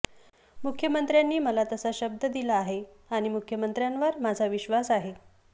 मुख्यमंत्र्यांनी मला तसा शब्द दिला आहे आणि मुख्यमंत्र्यांवर माझा विश्वास आहे